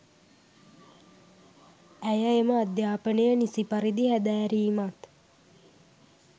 ඇය එම අධ්‍යාපනය නිසි පරිදි හැදෑරීමත්